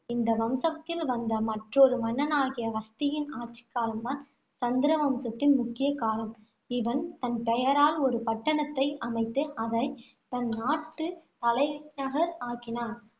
இந்த வம்சத்தில் வந்த மற்றொரு மன்னனாகிய ஹஸ்தியின் ஆட்சிக்காலம் தான் சந்திர வம்சத்தின் முக்கிய காலம். இவன் தன் பெயரால் ஒரு பட்டணத்தை அமைத்து, அதை தன் நாட்டு தலைநகர் ஆக்கினான்.